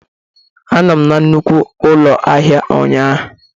Anọ m na nnukwu ụlọ ahịa ụnyaahụ.